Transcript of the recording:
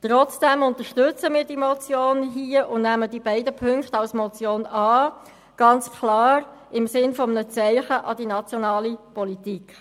Trotzdem unterstützen wir diese Motion hier und nehmen die beiden Punkte als Motion an, ganz klar im Sinne eines Zeichens an die nationale Politik.